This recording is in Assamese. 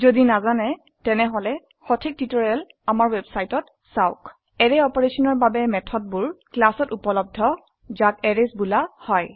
যদি নাজানে তেনেহলে সঠিক টিউটোৰিয়েল চাওক অ্যাৰে অপাৰেশনৰ বাবে মেথডবোৰ ক্লাছ এত উপলব্ধ যাক এৰেইছ বোলা হয়